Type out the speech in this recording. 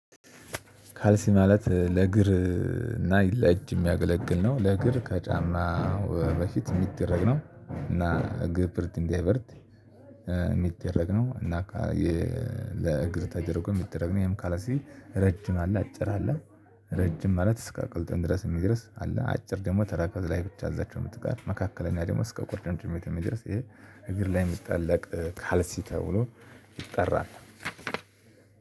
ካልሲ ማለት ለእግር እና ለጅ የሚያገለግል ነው ለእግር ከጫማ በፊት የሚደረግ ነው። እና እግር ብርድ እንዲያበርድ የሚደረግ ነው። እና ለእግር ተደርጎ የሚደረግ ነው። ይሄም ካልሲልዠ ረጅም አለ አጭር አለ። ረጅም ማለት እስከ ቅልጥም ድረስ የሚደርስ አለ። አጭር ደግሞ ተረከዝ ላይ ብቻ እዛችው ምትቀር መካከለኛ ደግሞ እስከ ቁርጭምጭሚት የሚደርስ ይሄ እግር ላይ የሚጠለቅ ካልሲ ተብሎ ይጠራል።